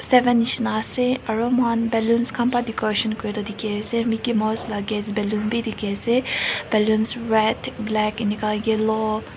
seven nisna ase aru moihan balloon khan pra decoration kuri tu dikhi ase Mickey mouse lah gas baloon bi dikhi ase balloons red black enka hoi ke ni lo--